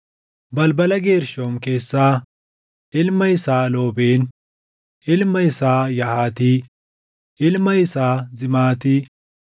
Balbala Geershoom keessaa: Ilma isaa Loobeen, ilma isaa Yahaati, ilma isaa Zimaati,